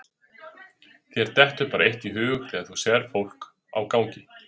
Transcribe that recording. Þér dettur bara eitt í hug þegar þú sérð fólk á gangi.